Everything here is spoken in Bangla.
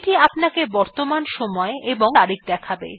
এইটি আপনাকে বর্তমান সময় এবং তারিখ দেখাবে